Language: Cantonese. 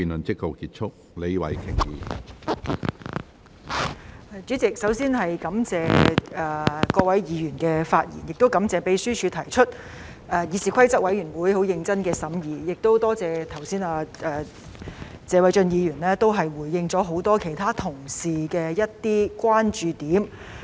主席，首先，我感謝各位議員的發言，亦感謝立法會秘書處提出方案、議事規則委員會很認真的審議，也多謝謝偉俊議員剛才回應了很多其他同事的某些關注。